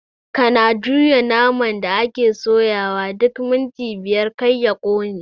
Kana juya naman da ake soyawa duk minti biyar kar ya ƙone